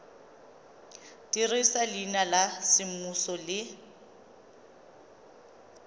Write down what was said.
dirisa leina la semmuso le